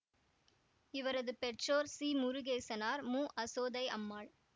இவரது பெற்றோர் சி முருகேசனார் மு அசோதை அம்மாள்